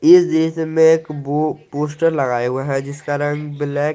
इस दृश्य में एक बो पोस्टर लगाए हुआ हैं जिसका रंग ब्लैक --